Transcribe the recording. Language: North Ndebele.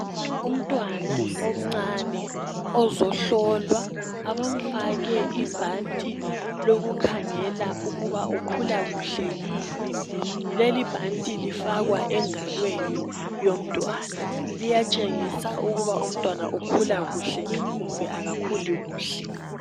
Umntwana omncane ozohlolwa abamfake ibhanti lokukhangela ukuba ukhula kuhle yini. Lelibhanti lifakwa engalweni yomntwana liyatshengisa ukuthi ukhula kuhle kumbe akakhuli kuhle.